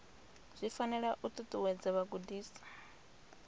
zwi fanela u ṱuṱuwedza vhagudiswa